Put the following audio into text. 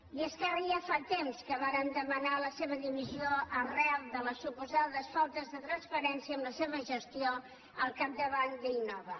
i esquerra ja fa temps que vàrem demanar la seva dimissió arran de les suposades faltes de transparència en la seva gestió al capdavant d’innova